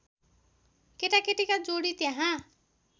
केटाकेटीका जोडी त्यहाँ